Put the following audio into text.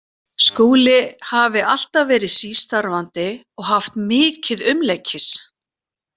Skúli hafi alltaf verið sístarfandi og haft mikið umleikis.